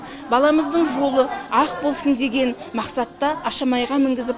баламыздың жолы ақ болсын деген мақсатта ашамайға мінгізіп